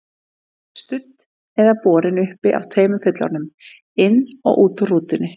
Studd eða borin uppi af tveimur fullorðnum, inn og út úr rútunni.